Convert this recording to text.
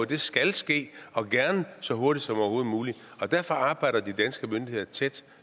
det skal ske og gerne så hurtigt som overhovedet muligt og derfor arbejder de danske myndigheder tæt